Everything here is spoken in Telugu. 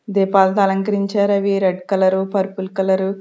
దీపాలతో అలంకరించారు అవి రెడ్ కలర్ పర్పుల్ కలర్ .